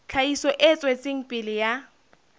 tlhahiso e tswetseng pele ya